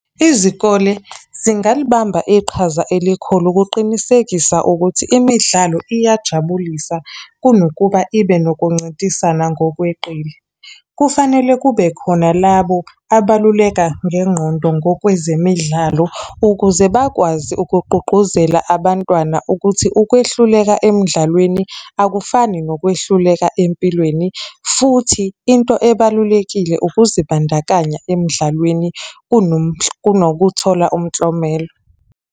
Izikole zingalibamba iqhaza elikhulu ukuqinisekisa ukuthi imidlalo iyajabulisa kunokuba ibe nokuncintisana ngokweqile. Kufanele kube khona labo abaluleka ngengqondo ngokwezemidlalo ukuze bakwazi ukugqugquzela abantwana ukuthi ukwehluleka emdlalweni, akufani nokwehluleka empilweni, futhi into ebalulekile ukuzibandakanya emdlalweni kunokuthola umklomelo.